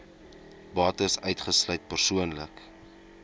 bates uitgesluit persoonlike